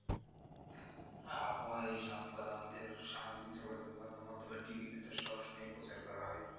হ্যাঁ আবহওয়ার এই সংবাদ আমাদের সামাজিক যোগাযোগ মাধ্যম অথবা TV তে তো সবসময়ই প্রচার করা হয়।